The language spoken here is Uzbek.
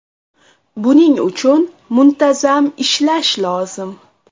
Buning uchun muntazam ishlash lozim.